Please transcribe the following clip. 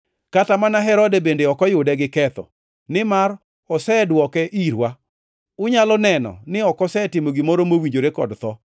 Kata mana Herode bende ok oyude gi ketho, nimar osedwoke irwa; unyalo neno, ni ok osetimo gimoro mowinjore kod tho.